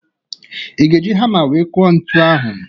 I ga-eji hama wee kụọ ntu ahụ?